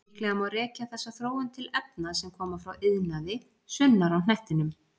Líklega má rekja þessa þróun til efna sem koma frá iðnaði sunnar á hnettinum.